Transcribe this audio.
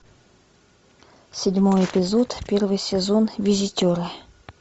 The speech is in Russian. седьмой эпизод первый сезон визитеры